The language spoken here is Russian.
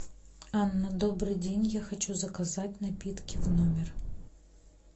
анна добрый день я хочу заказать напитки в номер